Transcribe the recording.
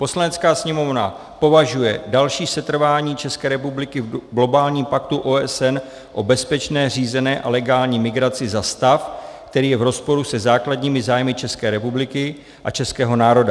"Poslanecká sněmovna považuje další setrvání České republiky v globálním paktu OSN o bezpečné, řízené a legální migraci za stav, který je v rozporu se základními zájmy České republiky a českého národa.